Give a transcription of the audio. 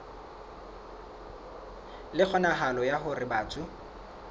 le kgonahalo ya hore batho